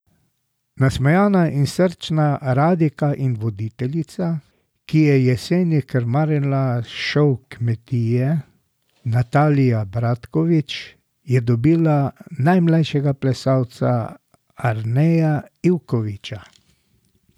Nasmejana in srčna radijka in voditeljica, ki je jeseni krmarila šov Kmetija, Natalija Bratkovič, je dobila najmlajšega plesalca Arneja Ivkoviča.